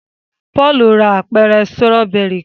Paul rà apẹrẹ Sírọ́bẹ́rì kán